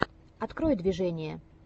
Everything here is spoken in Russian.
открой движение